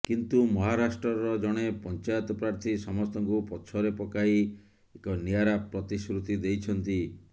କିନ୍ତୁ ମହାରାଷ୍ଟ୍ରର ଜଣେ ପଂଚାୟତ ପ୍ରାର୍ଥୀ ସମସ୍ତଙ୍କୁ ପଛରେ ପକାଇ ଏକ ନିଆରା ପ୍ରତିଶ୍ରୁତି ଦେଇଛନ୍ତି